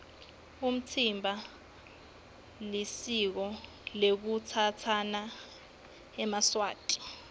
umtsimba lisiko lekutsatsana ngesiswati